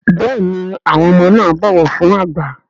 Béèni àwọn ọmọ na ń bó ọwọ fún àgbà.